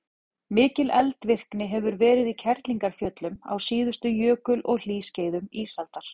mikil eldvirkni hefur verið í kerlingarfjöllum á síðustu jökul og hlýskeiðum ísaldar